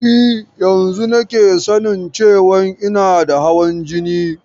E, yanzun nake sanin cewan ina da hawan jini.